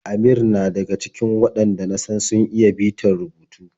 Amir na daga cikin waɗanda na san sun iya bitar rubutu.